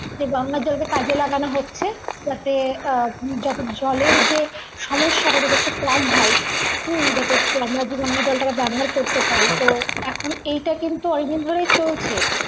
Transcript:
যে গঙ্গার জলকে কাজে লাগানো হচ্ছে যাতে আহ যাতে জলের যে সমস্যা সেটা যেমন কম হয় হুম যাতে আমরা জলটাকে ব্যবহার করতে পারি তো এখন কিন্তু এইটা অনেকদিন ধরেই চলছে